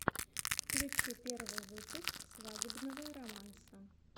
включи первый выпуск свадебного романса